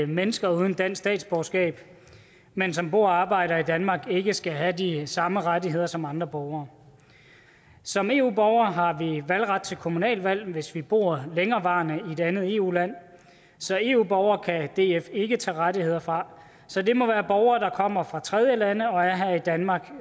mennesker uden dansk statsborgerskab men som bor og arbejder i danmark ikke skal have de samme rettigheder som andre borgere som eu borgere har vi valgret til kommunalvalg hvis vi bor længerevarende i et andet eu land så eu borgere kan df ikke tage rettigheder fra så det må være borgere der kommer fra tredjelande og er her i danmark